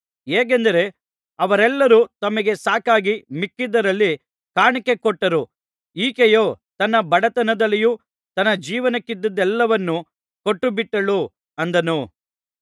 ಹೇಗೆಂದರೆ ಅವರೆಲ್ಲರು ತಮಗೆ ಸಾಕಾಗಿ ಮಿಕ್ಕದ್ದರಲ್ಲಿ ಕಾಣಿಕೆ ಕೊಟ್ಟರು ಈಕೆಯೋ ತನ್ನ ಬಡತನದಲ್ಲಿಯೂ ತನ್ನ ಜೀವನಕ್ಕಿದ್ದುದ್ದೆಲ್ಲವನ್ನೂ ಕೊಟ್ಟುಬಿಟ್ಟಳು ಅಂದನು